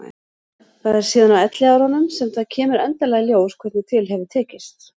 Það er síðan á elliárunum sem það kemur endanlega í ljós hvernig til hefur tekist.